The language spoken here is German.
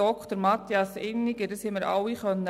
Dies haben wir alle lesen können.